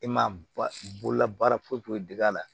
E ma ba bololabaara foyi foyi d'a la